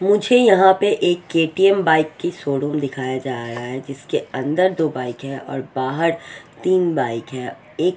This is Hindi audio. मुझे यहां पे एक के_टी_एम बाइक की शोरूम दिखाया जा रहा है जिसके अंदर दो बाइक है और बाहर तीन बाइक है एक--